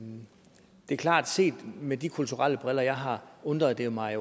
er klart set med de kulturelle briller jeg har undret mig